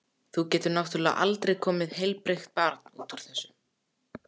Þá getur náttúrlega aldrei komið heilbrigt barn út úr þessu.